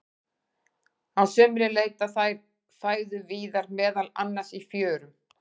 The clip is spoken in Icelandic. Á sumrin leita þær fæðu víðar, meðal annars í fjörum.